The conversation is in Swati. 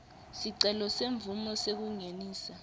sicelo semvumo yekungenisa